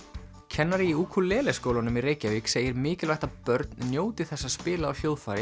kennari í Ukulele skólanum í Reykjavík segir mikilvægt að börn njóti þess að spila á hljóðfæri